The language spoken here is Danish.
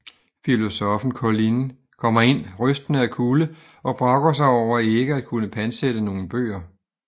Filosoffen Colline kommer ind rystende af kulde og brokker sig over ikke at kunne pantsætte nogle bøger